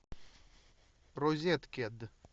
розеткед